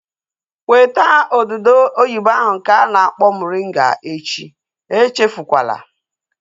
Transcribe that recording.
Weta odudu oyibo ahu nke a na-akpọ moringa echi! Echefukwala